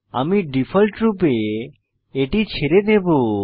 আমি ডিফল্ট রূপে এটি ছেড়ে দেবো